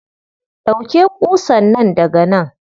Ɗauke ƙusan nan daga nan.